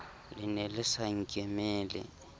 le ne le sa nkemele